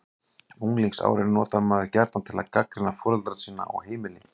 Unglingsárin notar maður gjarnan til að gagnrýna foreldra sína og heimili.